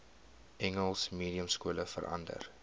engels mediumskole verander